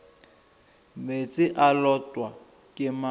meetse e lotwa ke mong